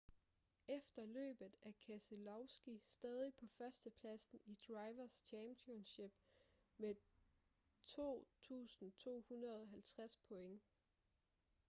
efter løbet er keselowski stadig på førstepladsen i drivers' championship med 2.250 point